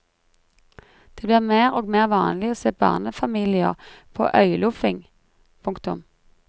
Det blir mer og mer vanlig å se barnefamilier på øyloffing. punktum